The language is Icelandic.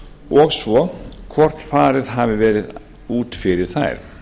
og svo hvort farið hafi verið út fyrir þær